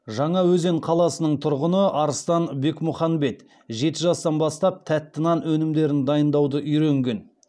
жаңаөзен қаласының тұрғыны арыстан бекмұханбет жеті жастан бастап тәтті нан өнімдерін дайындауды үйренген